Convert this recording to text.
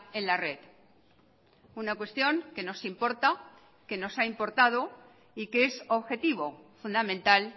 en la red una cuestión que nos importa que nos ha importado y que es objetivo fundamental